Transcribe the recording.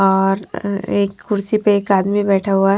और एक कुर्सी पर एक आदमी बैठा हुआ हैं।